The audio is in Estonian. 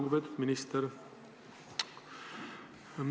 Lugupeetud minister!